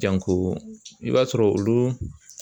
i b'a sɔrɔ olu